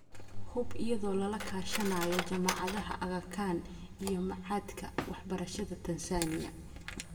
hub, iyada oo lala kaashanayo Jaamacadda Aga Khan iyo Machadka Waxbarashada Tansaaniya.